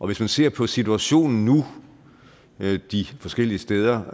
hvis man ser på situationen nu de forskellige steder